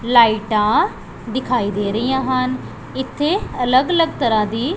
ਲਾਈਟਾਂ ਦਿਖਾਈ ਦੇ ਰਹੀਆਂ ਹਨ ਇੱਥੇ ਅਲੱਗ ਅਲੱਗ ਤਰ੍ਹਾਂ ਦੀ--